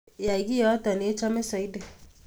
Yay kito nechome Saidi